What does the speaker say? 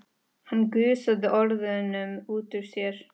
Hann gusaði orðunum út úr sér.